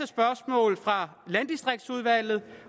spørgsmål fra landdistriktsudvalget